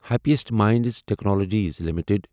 happiest Minds Technologies limited